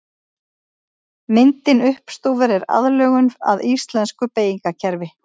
Myndin uppstúfur er aðlögun að íslensku beygingarkerfi.